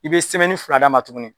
I be semɛni fila d'a ma tuguni